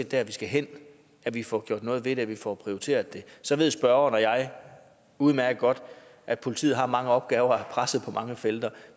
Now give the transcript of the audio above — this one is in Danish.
der vi skal hen at vi får gjort noget ved det at vi får prioriteret det så ved spørgeren og jeg udmærket godt at politiet har mange opgaver og er presset på mange felter